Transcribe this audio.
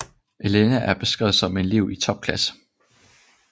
Elena er beskrevet som en elev i topklasse